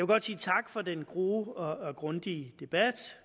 godt sige tak for den gode og grundige debat